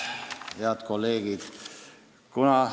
Head kolleegid!